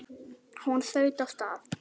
Hún þaut af stað.